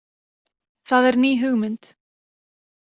Það er ný hugmynd